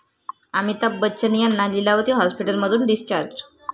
अमिताभ बच्चन यांना लीलावती हाॅस्पिटलमधून डिस्चार्ज